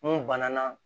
N'o banna